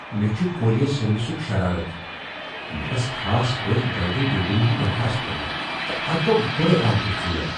مےٚ چُھ کوریر سٔروسُک شرارتھ۔ مےٚ ٲس خاص پٲٹھۍ جلدی ڈلیوری ہُنٛد درخاست کورمُت ، تہٕ اتھ گوٚو گۄڑے اکھ دۄہ ژیر۔